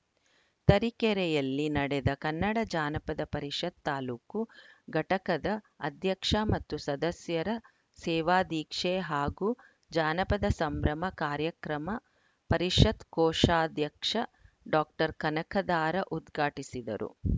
ತರೀಕೆರೆಯಲ್ಲಿ ನಡೆದ ಕನ್ನಡ ಜಾನಪದ ಪರಿಷತ್‌ ತಾಲೂಕು ಘಟಕದ ಅಧ್ಯಕ್ಷ ಮತ್ತು ಸದಸ್ಯರ ಸೇವಾದೀಕ್ಷೆ ಹಾಗೂ ಜಾನಪದ ಸಂಭ್ರಮ ಕಾರ್ಯಕ್ರಮ ಪರಿಷತ್‌ ಕೋಶಾಧ್ಯಕ್ಷ ಡಾಕ್ಟರ್ ಕನಕಧಾರಾ ಉದ್ಘಾಟಿಸಿದರು